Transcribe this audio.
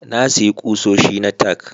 Na sayi kusoshi na tack